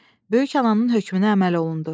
Böyük ananın hökmünə əməl olundu.